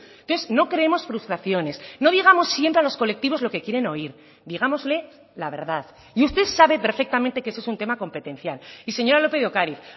entonces no creemos frustraciones no digamos siempre a los colectivos lo que quieren oír digámosle la verdad y usted sabe perfectamente que eso es un tema competencial y señora lópez de ocariz